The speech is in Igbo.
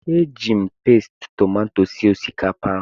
Eji m Pasti tomato sie osikapa ahụ